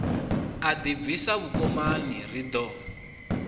a ḓibvisa vhukomani ri ḓo